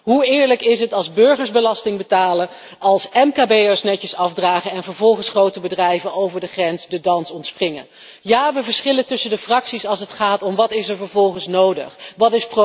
Hoe eerlijk is het als burgers belasting betalen, als mkb'ers netjes afdragen en vervolgens grote bedrijven over de grens de dans ontspringen? Ja, de fracties verschillen van mening als het gaat om wat er vervolgens nodig is.